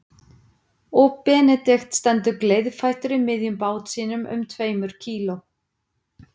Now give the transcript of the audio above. Og Benedikt stendur gleiðfættur í miðjum bát sínum um tveimur kíló